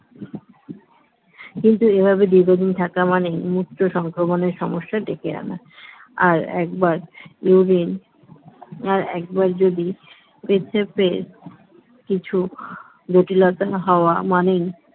কিন্তু এভাবে দীর্ঘদিন থাকা মানে মূত্র সংক্রমণের সমস্যা ডেকে আনা আর urine আর একবার যদি পেচ্ছাপের কিছু জটিলতা হওয়া মানে